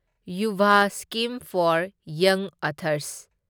Yuva scheme for ꯌꯪ authors